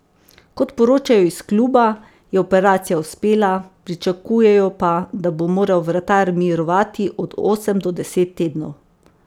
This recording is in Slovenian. Kot poročajo iz kluba, je operacija uspela, pričakujejo pa, da bo moral vratar mirovati od osem do deset tednov.